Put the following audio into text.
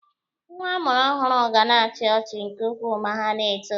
Nwa amụrụ ọhụrụ ga na-achi ọchị nke ukwuu ma ha na-eto.